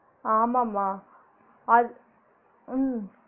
ஆமா மா அட் உம்